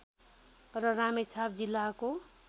र रामेछाप जिल्लाको